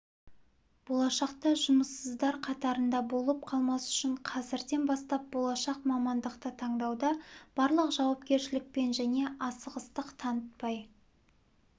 болашақта жұмыссыздар қатарында болып қалмас үшін қазірден бастап болашақ мамандықты таңдауда барлық жауапкершілікпен және асығыстық танытпай